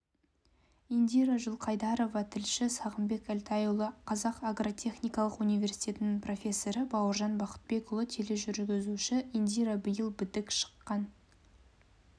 индира жылқайдарова тілші сағымбек әлтайұлы қазақ агротехникалық университетінің профессоры бауыржан бақытбекұлы тележүргізуші индира биыл бітік шыққан